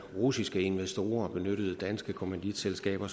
russiske investorer benyttede danske kommanditselskaber